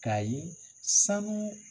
K'a ye sanu